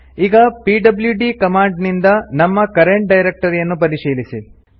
ಈಗ PWD command ನಿಂದ ನಮ್ಮ ಕರೆಂಟ್ ಡೈರೆಕ್ಟರಿಯನ್ನು ಪರಿಶೀಲಿಸಿ